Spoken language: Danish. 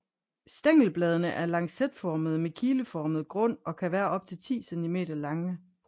Stængelbladene er lancetformede med kileformet grund og kan være op til 10 cm lange